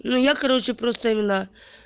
ну я короче просто имена